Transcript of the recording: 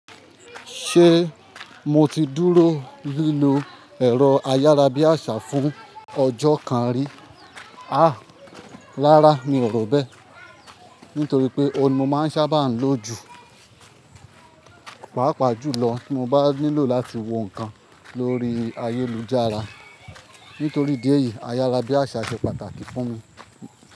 Ṣé mo ti dúró lílò ẹ̀rọ ayárabíàṣá fún ọjọ́ kan rí? Àá, rárá mi ò rò bẹ́ẹ̀, nítorí pé ọ̀hun ni mo máa ń sábà ń lọ jù. Pàápàá jùlọ tí mo bá nílò láti wo nǹkan lórí ayélujára. Nítorí idi èyí, ayárabíàṣá ṣe pàtàkì fún mi.